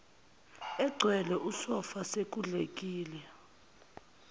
egcwele usofa sekudlekile